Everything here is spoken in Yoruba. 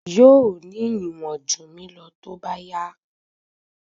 Yóò ní ìwọ̀n jù mí lọ tó bá yá.